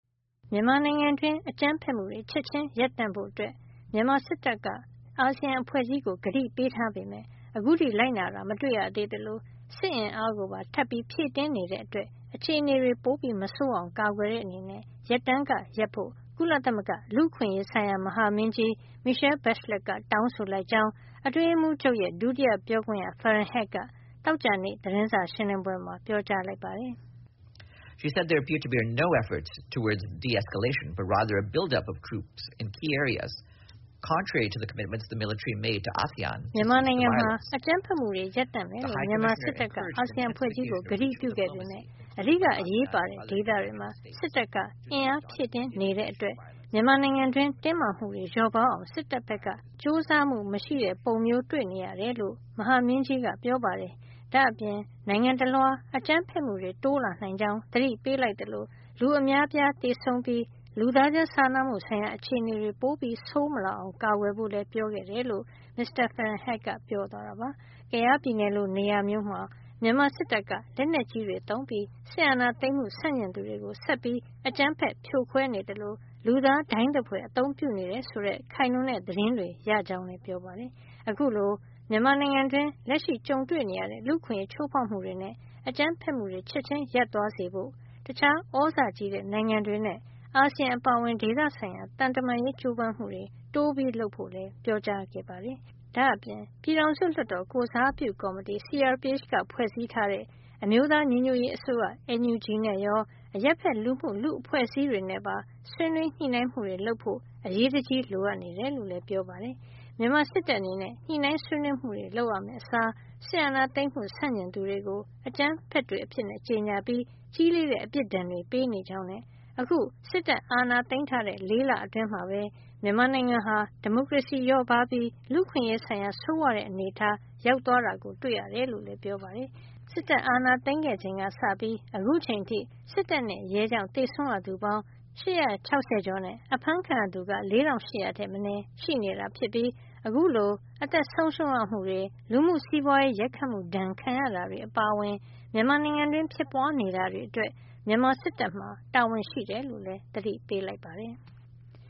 မြန်မာနိုင်ငံတွင်း အကြမ်းဖက်မှုတွေ ချက်ချင်းရပ်တန့်ဖို့ မြန်မာစစ်တပ်က အာဆီယံအဖွဲ့ကြီးကို ကတိပေးထားပေမယ့် အခုထိ လိုက်နာတာ မတွေ့ရသေးသလို စစ်အင်အားပါ ထပ်ပြီး ဖြည့်တင်းနေတဲ့အတွက် အခြေနေတွေ ပိုမဆိုးအောင် ကာကွယ်တဲ့အနေနဲ့ ရပ်တန်းကရပ်ဖို့ ကုလသမဂ္ဂ လူ့အခွင့်အရေးဆိုင်ရာ မဟာမင်းကြီး Michelle Bachelet က တောင်းဆိုလိုက်ကြောင်း အတွင်းရေးမှူးချုပ်ရဲ့ ဒုတိယပြောခွင့်ရ Farhan Haq က သောကြာနေ့ သတင်းစာရှင်းလင်းပွဲမှာ ပြောကြားလိုက်ပါတယ်။ "မြန်မာနိုင်ငံမှာ အကြမ်းဖက်မှုတွေ ရပ်တန့်မယ်လို့ မြန်မာစစ်တပ်က အာဆီယံအဖွဲ့ကြီးကို ကတိပြုခဲ့ပေမယ့် အဓိကအရေးပါတဲ့ဒေသတွေမှာ စစ်တပ်က အင်အား ဖြည့်တင်း နေတဲ့အတွက် မြန်မာနိုင်ငံတွင်း တင်းမာမှုတွေ လျော့ပါးအောင် စစ်တပ်ဖက်က ကြိုးစားမှု မရှိတဲ့ပုံမျိး တွေ့နေရတယ်လို့ မဟာမင်းကြီးက ပြောပါတယ်။ဒါ့အပြင် နိုင်ငံတလွှား အကြမ်းဖက်မှုတွေ တိုးလာနိုင်ကြောင်း သတိပေးလိုက်သလို လူအများအပြား သေဆုံးပြီး လူသားချင်းစာနာမှု အခြေနေတွေ ပိုဆိုးမလာအောင် ကာကွယ်ဖို့လည်း ပြောခဲ့တယ်" လို့ မစ္စတာ Farhan Haq က ပြောသွားတာပါ။ ကယားပြည်နယ်လို နေရာမျိုးမှာ မြန်မာစစ်တပ်က လက်နက်ကြီးတွေ သုံးပြီး စစ်အာဏာသိမ်းမှု ဆန့်ကျင်သူတွေကို ဆက်ပြီး အကြမ်းဖက် ဖြိုခွဲနေသလို လူသားဒိုင်းသဖွယ် အသုံးပြုနေတယ် ဆိုတဲ့ ခိုင်လုံတဲ့ သတင်းတွေရကြောင်းလည်း ပြောပါတယ်။ အခုလို မြန်မာနိုင်ငံတွင်း လက်ရှိကြုံတွေ့နေရတဲ့ လူ့အခွင့်ရေးချိုးဖောက်မှုတွေနဲ့ အကြမ်းဖက်မှုတွေ ချက်ချင်း ရပ်သွားစေဖို့ တခြား သြဇာကြီးတဲ့ နိုင်ငံတွေနဲ့ အာဆီယံ အပါအဝင် ဒေသဆိုင်ရာ သံတမန်ရေး ကြိုးစားမှုတွေ တိုးလုပ်ဖို့လည်း ပန်ကြားခဲ့ပါတယ်။ ဒါ့အပြင် ပြည်ထောင်စုလွှတ်တော်ကိုယ်စားပြု ကော်မတီ CRPH က ဖွဲ့စည်းထားတဲ့ အမျိုးသားညီညွတ်ရေး အစိုးရ NUG နဲ့ရော အရပ်ဖက်လူမှုလူ့အဖွဲ့အစည်းတွေနဲ့ပါ ဆွေးနွေးညှိနှိုင်းမှုတွေလုပ်ဖို့ အရေးတကြီး လိုအပ်နေတယ်လို့လည်း ပြောကြားခဲ့ပါတယ်။ မြန်မာစစ်တပ်အနေနဲ့ ညှိနှိုင်းဆွေးနွေးမှုတွေ လုပ်ရမယ့် အစား စစ်အာဏာသိမ်းမှု ဆန့်ကျင်သူတွေကို အကြမ်းဖက်တွေ အဖြစ်ကြေညာပြီး ကြီးလေးတဲ့ အပြစ်ဒဏ်တွေ ပေးနေကြောင်းနဲ့ အခု စစ်တပ်အာဏာသိမ်းထားတဲ့ ၄ လအတွင်းမှာပဲ မြန်မာနိုင်ငံဟာ ဒီမိုကရေစီလျော့ပါးလာပြီး လူ့အခွင့်ရေး ဆိုင်ရာ ဆိုးဝါးတဲ့ အနေထား ရောက်သွားတာတွေ့ရတယ် လို့လည်း ပြောပါတယ်။ စစ်တပ်အာဏာသိမ်းခဲ့ချိန်ကစပြီး အခုအချိန်အထိ စစ်တပ်နဲ့ရဲကြောင့် သေဆုံးရသူ ၈၆၀ ကျော်နဲ့ အဖမ်းခံရသူက ၄၈၀၀ ထက်မနည်းရှိနေတာ ဖြစ်ပြီး အခုလို အသက်ဆုံးရှုံးရမှုတွေ၊ လူမှုစီးပွါးရေးရိုက်ခတ်မှု ဒဏ်ခံရတာတွေ အပါအဝင် မြန်မာနိုင်ငံတွင်း ဖြစ်ပွားနေတာတွေအတွက် မြန်မာစစ်တပ်မှာ တာဝန်ရှိတယ်လို့လည်း သတိပေးလိုက်ပါတယ်။